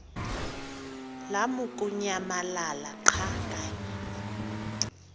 lamukunyamalala xa kanye